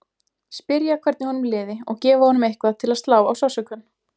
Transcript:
Spyrja hvernig honum liði og gefa honum eitthvað til að slá á sársaukann.